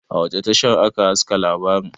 a wace tashar aka haska labarin?